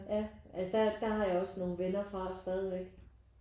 Ja altså der der har jeg også nogle venner fra stadigvæk